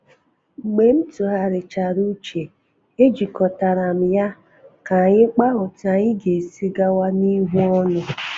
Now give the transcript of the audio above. Mgbe m tụgharichara uche, e jikọtara m ya ka anyi kpaa otú anyị ga-esi gawa n’ihu ọnụ